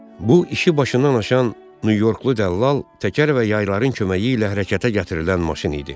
Bu işi başından aşan Nyu-Yorklu dəllal təkər və yayların köməyi ilə hərəkətə gətirilən maşın idi.